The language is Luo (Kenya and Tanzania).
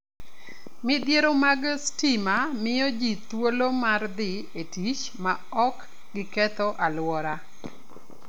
Midhiro mag stima miyo ji thuolo mar dhi e tich maok giketh alwora.